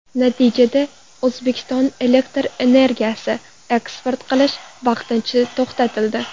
Natijada, O‘zbekistonga elektr energiyasi eksport qilish vaqtincha to‘xtatildi.